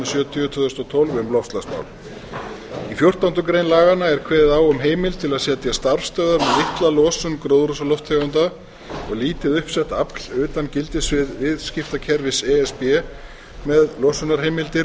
sjötíu tvö þúsund og tólf um loftslagsmál í fjórtándu grein laganna er kveðið á um heimild til að setja starfsstöðvar með litla losun gróðurhúsalofttegunda og lítið uppsett afl utan gildissviðs viðskiptakerfis e s b með losunarheimildir